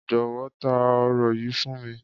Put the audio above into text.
Jọ̀wọ́, ta òro yìí fún mi.